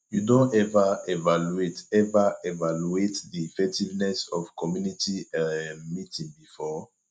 you don ever evaluate ever evaluate di effectiveness of community um meeting before